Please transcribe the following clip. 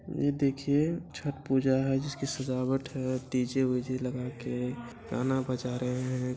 ये देखिए छठ पूजा है जिसकी सजावट है डी.जे. वीजे लगाके गाना बजा रहे है।